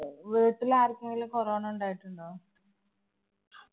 വീട്ടിലാര്‍ക്കെങ്കിലും corona ഉണ്ടായിട്ടുണ്ടോ?